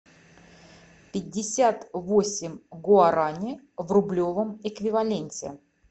пятьдесят восемь гуарани в рублевом эквиваленте